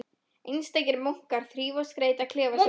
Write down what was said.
Einstakir munkar þrífa og skreyta klefa sína.